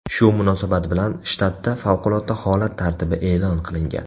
Shu munosabat bilan shtatda favqulodda holat tartibi e’lon qilingan.